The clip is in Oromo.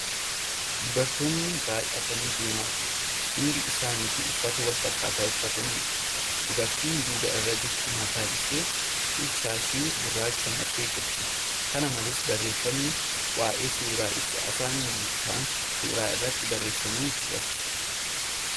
Dubartoonni baay'atanii deemaa jiru. Hundi isaanitu uffata wal fakkaatu uffatanii jiru. Dubartiin duuba irra jirtu mataa isheetti shaashii gurraacha marattee jirti. Kana malees , barreeffamni waa'ee suuraa ibsu Afaan Ingiliffaan suura irratti barreeffamee jira.